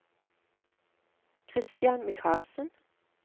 Christian Michaelsen